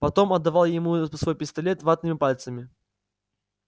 потом отдавал ему свой пистолет ватными пальцами